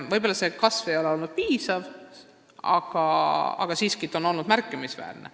Võib-olla ei ole see kasv piisav olnud, aga siiski on see olnud märkimisväärne.